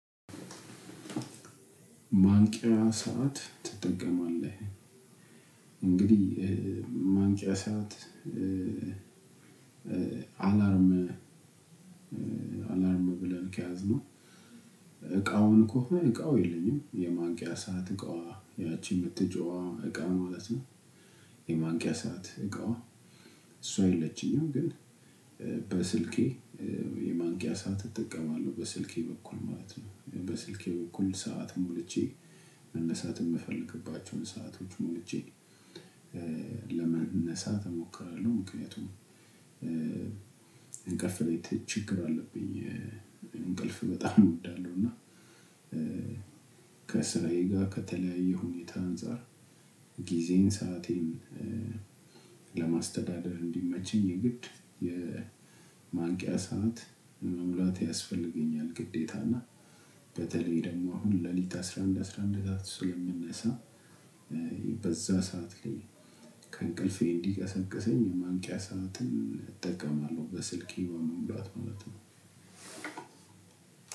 ማንቂያ ሰዓት ትጠቀማለህ እንግዲህ ማንቂያ ሰዓት አላርም አላርም ብለን ከያዝነው እቃውን ከሆነ እቃው የለኝም የማንቂያ ሰዓት እቃዋ ያቺ የምትጮኽዋ እቃዋ ማለት ነው። የማንቂያ ሰዓት እቃ እሷ የለችኝም። ግን በስልኬ የማንቂያ ሰዓት እጠቀማለሁ በስልኬ በኩል ማለት ነው። በስልኬ በኩል ሰዓትን ሞልቼ መነሳትን የምፈልግባቸውን ሰአቶች ሞልቼ ለመነሳት እሞክራለሁ። ምክንያቱም እንቅልፍ ላይ ችግር አለብኝ። እንቅልፍ በጣም እወዳለሁ። እና ከስራዬ ጋር ከተለያየ ሁኔታ አንፃር ጊዜን ሰአቴን ለማስተዳደር እንዲመቸኝ የግድ የማንቂያ ሰዓት መሙላት ያስፈልገኛል። ግዴታ እና በተለይ ደግሞ አሁን ሌሊት አስራ አንድ አስራ አንድ ሰዓት ስለምንነሳ በዛ ሰዓት ላይ ከእንቅልፌ እንዲቀሰቅሰኝ የማንቂያ ሰዓትን እጠቀማለሁ። በስልኬ በመሙላት ማለት ነው።